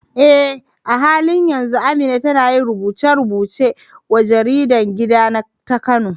Eh, a halin yanzu Amina tana yin rubuce-rubuce wa jaridar gida ta Kano.